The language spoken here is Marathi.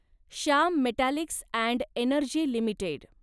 Shyam Metallics and Energy limited